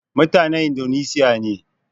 Mutanen Indoneshiya ne